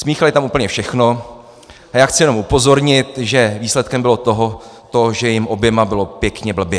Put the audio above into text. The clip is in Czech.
Smíchali tam úplně všechno a já chci jenom upozornit, že výsledkem bylo to, že jim oběma bylo pěkně blbě.